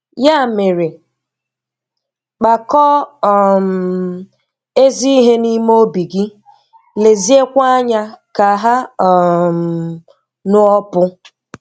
Yà mere, kpakọọ um ezi ihe n’ime ọ̀bị gị, leziekwa anya ka ha um ṅụọpụ.